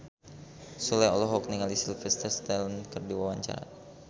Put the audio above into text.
Sule olohok ningali Sylvester Stallone keur diwawancara